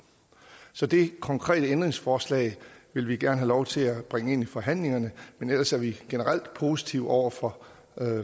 så det konkrete ændringsforslag vil vi gerne have lov til at bringe ind i forhandlingerne men ellers er vi generelt positive over for